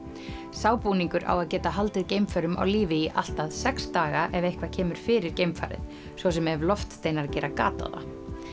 sá búningur á að geta haldið geimförum á lífi í allt að sex daga ef eitthvað kemur fyrir geimfarið svo sem ef loftsteinar gera gat á það